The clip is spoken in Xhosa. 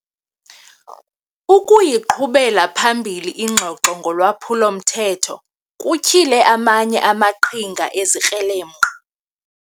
Ukuyiqhubela phambili ingxoxo ngolwaphulo-mthetho kutyhile amanye amaqhinga ezikrelemnqa.